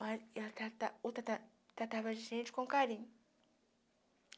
Mas ela trata trata tratava a gente com carinho.